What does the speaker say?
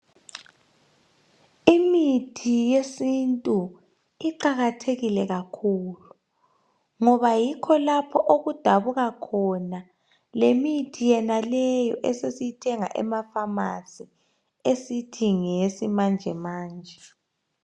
Imithi yesintu iqakathekile kakhulu ngoba yikho lapho okudabuka khona lemithi yenaleyo esesiyithenga emafamasi esithi ngeyesimanje manje.